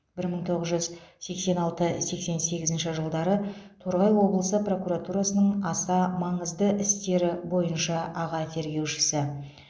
бір мың тоғыз жүз сексен алты сексен сегізінші жылдары торғай облысы прокуратурасының аса маңызды істері бойынша аға тергеушісі